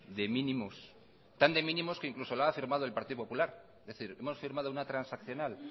de mínimos tan de mínimos que incluso la ha firmado el partido popular es decir hemos firmado una transaccional